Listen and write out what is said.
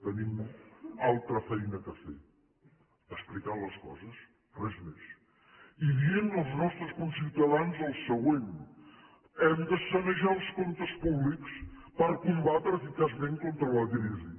tenim altra feina a fer explicant les coses res més i dient als nostres conciutadans el següent hem de sanejar els comptes públics per combatre eficaçment contra la crisi